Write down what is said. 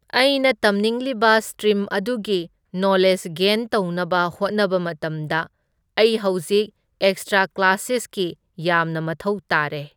ꯑꯩꯅ ꯇꯝꯅꯤꯡꯂꯤꯕ ꯁꯇ꯭ꯔꯤꯝ ꯑꯗꯨꯒꯤ ꯅꯣꯂꯦꯖ ꯒꯦꯟ ꯇꯧꯅꯕ ꯍꯣꯠꯅꯕ ꯃꯇꯝꯗ ꯑꯩ ꯍꯧꯖꯤꯛ ꯑꯦꯛꯁꯇ꯭ꯔꯥ ꯀ꯭ꯂꯥꯁꯦꯁꯀꯤ ꯌꯥꯝꯅ ꯃꯊꯧ ꯇꯥꯔꯦ꯫